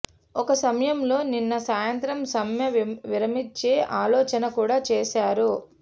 ఒక సమయంలో నిన్న సాయంత్రం సమ్మె విరమించే ఆలోచన కూడా చేశారు